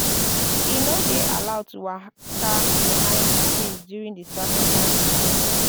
e no dey allowed to waka behind di priest during di sacrifice procession.